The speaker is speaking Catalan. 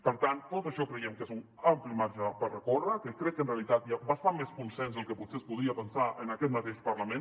per tant tot això creiem que és un ampli marge per recórrer que crec que en realitat hi ha bastant més consens del que potser es podria pensar en aquest mateix parlament